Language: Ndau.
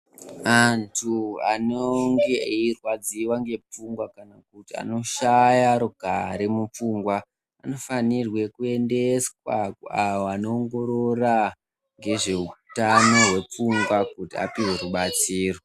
Antu anonge eirwadziwa ngepfungwa kana kuti anoshaye rugare mupfungwa anofanirwe kuendeswa kune avo vanoongorora ngezveutano hwepfungwa kuti apuwe rubatsiro.